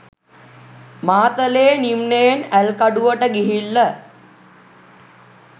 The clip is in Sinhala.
මාතලේ නිම්නයෙන් ඇල්කඩුවට ගිහිල්ල.